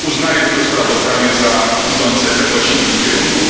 Uznaję to sprawozdanie za idące we właściwym kierunku.